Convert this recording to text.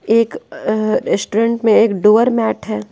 एक अ रेस्टोरेंट में एक डोअर मैट है।